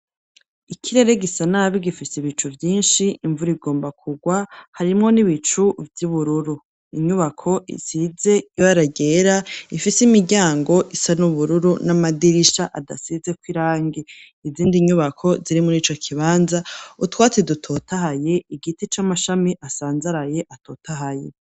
Ikirere gisa nabi gifise ibicu vyinshi, imvura igomba kurwa, harimwo n'ibicu vy'ubururu, inyubako isize ibara ryera, ifise imiryango isa n'ubururu n'amadirisha adasizeko irangi. Izindi nyubako ziri muri ico kibanza, utwatsi dutotahaye, igiti c'amashami asanzaraye atotahaye.